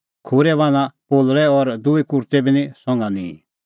खूरै बान्हां पोलल़ै और दूई कुर्तै बी निं संघा निंईं